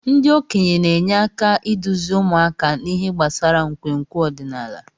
Ndị okenye na-enye aka iduzi ụmụaka n'ihe gbasara nkwenkwe ọdịnala.